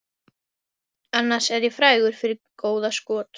Annars er ég frægur fyrir góða skot